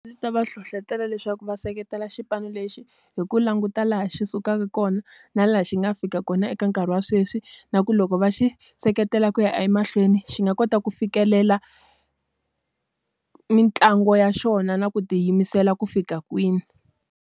Ndzi ta va hlohletela leswaku va seketela xipano lexi hi ku languta laha xi sukaka kona, na laha xi nga fika kona eka nkarhi wa sweswi na ku loko va xi seketela ku ya emahlweni, xi nga kota ku fikelela, mitlangu ya xona na ku tiyimisela ku fika kwini.